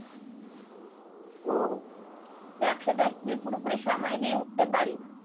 তো ব্যবসা টা কি পুরোপুরি সময় দিয়ে উঠতে পারিনা